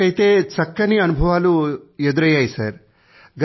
ఇప్పటివరకూ అయితే చక్కని అనుభవాలు ఎదురైయ్యాయి